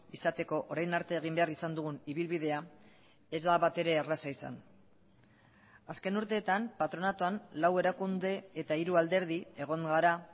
izateko orain arte egin behar izan dugun ibilbidea ez da batere erraza izan azken urteetan patronatuan lau erakunde eta hiru alderdi egon gara